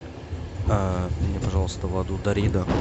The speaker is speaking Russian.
мне пожалуйста воду дарида